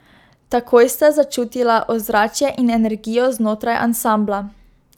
Takoj sta začutila ozračje in energijo znotraj ansambla.